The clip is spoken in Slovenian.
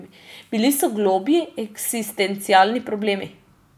Bili so globlji eksistencialni problemi.